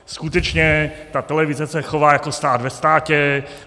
Skutečně ta televize se chová jako stát ve státě.